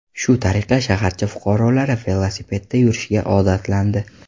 Shu tariqa, shaharcha fuqarolari velosipedda yurishga odatlandi.